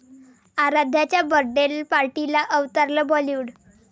आराध्याच्या birthday पार्टीला अवतरलं बॉलिवूड